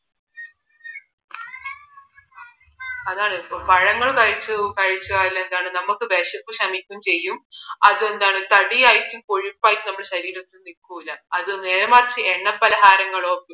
അതാണ് പഴങ്ങൾ കഴിച്ചാൽ എന്താണ് നമുക്ക് വിശപ്പ് ക്ഷമിക്കും ചെയ്യും അതെന്താണ് തടി ആയിട്ട് കൊഴുപ്പ് ആയിട്ട് നമ്മുടെ ശരീരത്തിൽ നിൽക്കൂല നേരെമറിച്ച് എണ്ണ പാലഹാരങ്ങളോ